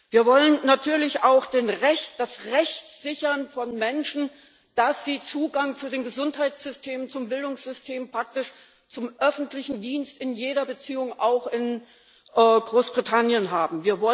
Wir wollen natürlich auch das Recht von Menschen sichern, Zugang zu den Gesundheitssystemen, zum Bildungssystem, praktisch zum öffentlichen Dienst in jeder Beziehung auch in Großbritannien zu haben.